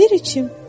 Ver içim.